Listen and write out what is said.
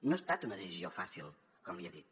no ha estat una decisió fàcil com li he dit